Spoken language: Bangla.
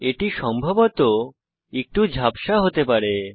এটি সম্ভবত একটু ঝাপসা হতে পারে